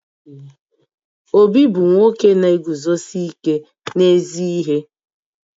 Obi bu nwoke na-eguzosi ike n'ezi ihe